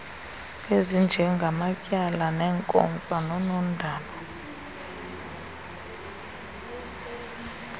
ezinjengamatyala neenkomfa noonondaba